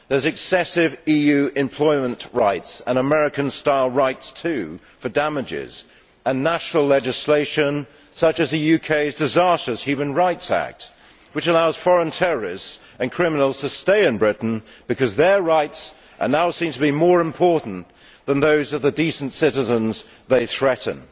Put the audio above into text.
There are excessive EU employment rights and American style rights too for damages, and national legislation such as the UK's disastrous Human Rights Act, which allows foreign terrorists and criminals to stay in Britain because their rights are now seen to be more important than those of the decent citizens they threaten.